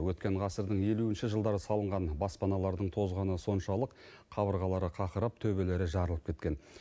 өткен ғасырдың елуінші жылдары салынған баспаналардың тозғаны соншалық қабырғалары қақырап төбелері жарылып кеткен